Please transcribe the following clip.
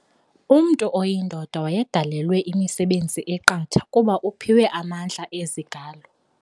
Umntu oyindoda wayedalelwe imisebenzi eqatha kuba uphiwe amandla ezigalo.